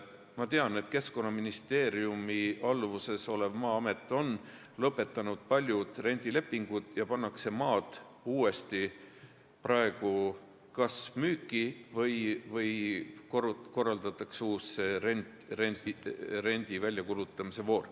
Ma tean, et Keskkonnaministeeriumi alluvuses olev Maa-amet on lõpetanud paljud rendilepingud ja maad pannakse uuesti kas müüki või korraldatakse uus rendi väljakuulutamise voor.